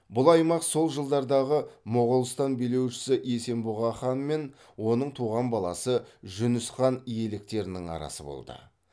бұл аймақ сол жылдардағы моғолстан билеушісі есенбұға хан мен оның туған баласы жүніс хан иеліктерінің арасы болды